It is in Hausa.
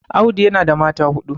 Audu yana da mata huɗu